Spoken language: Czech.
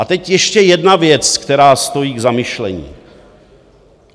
A teď ještě jedna věc, která stojí k zamyšlení.